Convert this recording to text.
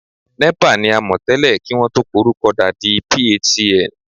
NEPA ni a mọ̀ tẹ́lẹ̀ kí wọn tó porúkọ da di PHCN